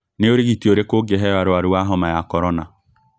Nĩ ũrigiti ũrĩkũ ũngĩheo arwaru a homa ya korona